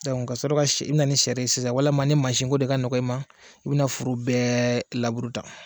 Dɔnku ka sɔrɔ ka i bɛ na ni sari sisan walima ni masinko de ka nɔgɔ i ma i bɛna foro bɛɛ lab uru tan.